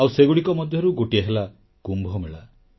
ଆଉ ସେଗୁଡ଼ିକ ମଧ୍ୟରୁ ଗୋଟିଏ ହେଲା କୁମ୍ଭମେଳା